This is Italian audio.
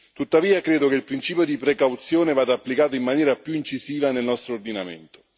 Tuttavia, credo che il principio di precauzione vada applicato in maniera più incisiva nel nostro ordinamento.